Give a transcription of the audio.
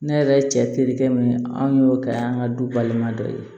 Ne yɛrɛ cɛ terikɛ min an y'o kɛ an ka du balima dɔ ye